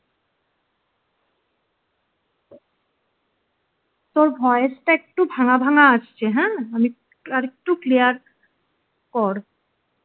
তোর voice টা একটু ভাঙ্গা ভাঙ্গা আসছে হ্যাঁ আর একটু clear কর